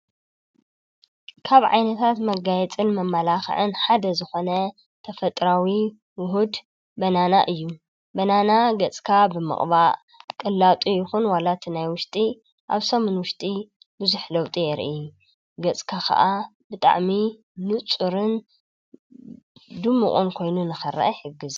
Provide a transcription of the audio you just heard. ካብ ዓይነታት መጋየፅን መመላክዕን ሓደ ዝኾነ ተፈጥሮአዊ ዉህድ በነና እዩ፡፡ በነና ገፅካ ምቕባእ ቅላጡ ይኹን ዋላ እቲ ናይ ውሽጢ ኣብ ሰሙን ውሽጢ ብዙሕ ለውጢ የርኢ፡፡ ገፅካ ከዓ ብጣዕሚ ንፁርን ድሙቕን ኮይኑ ንኽርአ ይሕግዝ፡፡